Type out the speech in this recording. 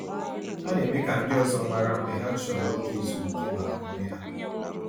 Ha na-eme ka ndị ọzọ mara mgbe ha chọrọ oge ezumiike maka onwe ha.